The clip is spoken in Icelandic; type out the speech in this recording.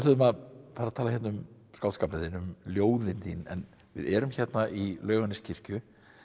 að fara tala hérna um skáldskapinn þinn um ljóðin þín en við erum hérna í Laugarneskirkju